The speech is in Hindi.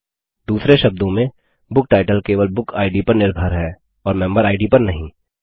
दूसरे शब्दों में बुकटाइटल केवल बुक इद पर निर्भर है और मेंबर इद पर नहीं